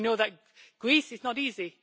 We know that Greece is not easy.